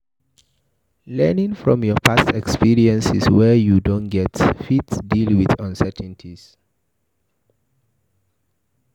Learn from past experiences wey you don get to fit deal with uncertainties